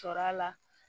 Cɔrɔ a la